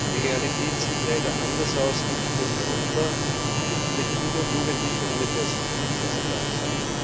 Die Realität sieht leider anders aus, nicht nur in Europa, wo viele Kinder und Jugendliche ohne Perspektive aufwachsen.